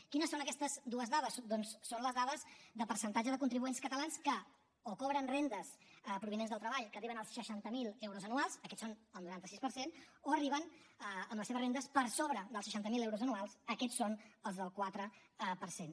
quines són aquestes dues dades doncs són les dades de percentatge de contribuents catalans que o cobren rendes provinents del treball que arriben als seixanta miler euros anuals aquests són el noranta sis per cent o arriben amb les seves rendes per sobre dels seixanta miler euros anuals aquests són els del quatre per cent